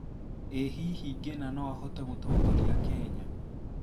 ĩ hihi Ngĩna no ahote gũtongoria Kenya